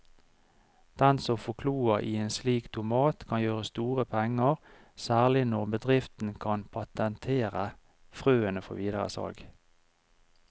Den som får kloa i en slik tomat kan gjøre store penger, særlig når bedriften kan patentere frøene før videre salg.